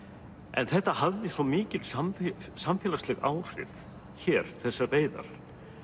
en þetta hafði svo mikil samfélagsleg áhrif hér þessar veiðar